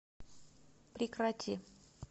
прекрати